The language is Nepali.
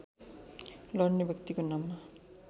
लढ्ने व्यक्तिको नाममा